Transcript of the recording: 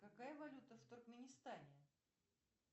какая валюта в туркменистане